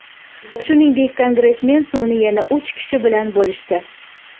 Shuningdek, kongressmen suvni yana uch kishi bilan bo‘lishdi.